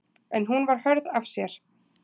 En hún var hörð af sér.